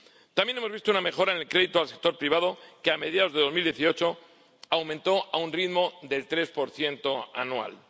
También hemos visto una mejora en el crédito al sector privado, que, a mediados de 2018, aumentó a un ritmo del 3 anual.